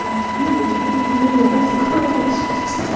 Minha filha, te dei os melhores colégios de São